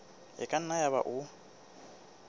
e ka nna yaba o